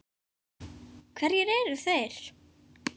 Hverjir eru þeir?